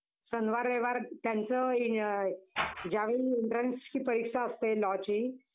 आणि कुठं काय मर्दा. परवा शाळेत गेलतो आमच्या. Gathering होतं ना शाळेचं.